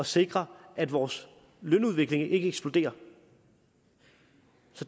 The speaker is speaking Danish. sikre at vores lønudvikling ikke eksploderer